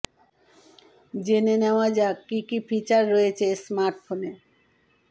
জেনে নেওয়া যাক কি কি ফিচার রয়েছে এই স্মার্টফোনে